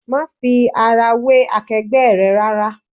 Má fi ara wé akegbe rẹ rárá!